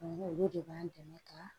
Olu de b'an dɛmɛ ka